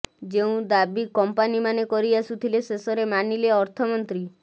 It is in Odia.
ଯେଉଁ ଦାବି କଂପାନୀମାନେ କରି ଆସୁଥିଲେ ଶେଷରେ ମାନିଲେ ଅର୍ଥମନ୍ତ୍ରୀ